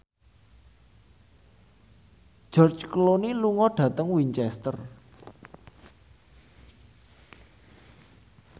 George Clooney lunga dhateng Winchester